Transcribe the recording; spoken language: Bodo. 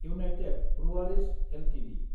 United breweries Ltd